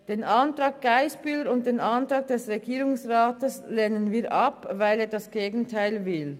Die Anträge von Grossrätin Geissbühler-Strupler und der Regierung lehnen wir ab, weil diese das Gegenteil wollen.